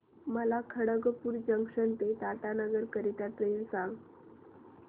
मला खडगपुर जंक्शन ते टाटानगर करीता ट्रेन सांगा